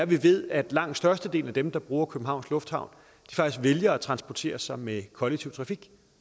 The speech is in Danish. vi ved at langt størstedelen af dem der bruger københavns lufthavn faktisk vælger at transportere sig med kollektiv trafik